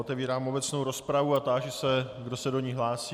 Otevírám obecnou rozpravu a táži se, kdo se do ní hlásí.